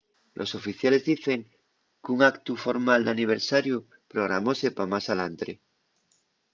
los oficiales dicen qu’un actu formal d’aniversariu programóse pa más alantre